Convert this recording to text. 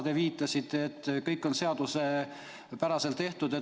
Te ütlesite, et kõik on seaduspäraselt tehtud.